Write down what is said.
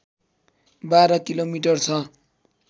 १२ kilometre छ